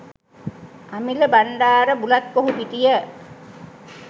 Amila Bandarabulathkohupitiya